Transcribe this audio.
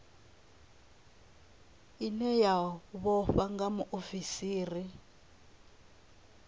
ine ya vhofha nga muofisiri